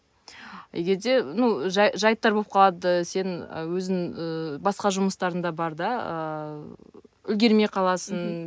егерде ну жайттар болып қалады сен ы өзің ы басқа жұмыстарың да бар да ыыы үлгермей қаласың